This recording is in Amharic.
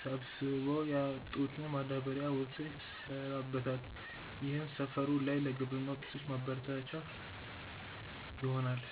ሰብስበው ያወጡትና ማዳበሪያ ወዘተ ይሰራበታል። ይህም ሰፈሩ ላይ ለግብርና ውጤቶች ማበረቻቻ ይሆናል።